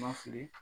Ma fili